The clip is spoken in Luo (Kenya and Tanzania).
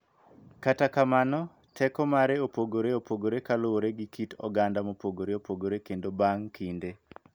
Kata kamano, teko mare opogore opogore kaluwore gi kit oganda mopogore opogore kendo bang� kinde,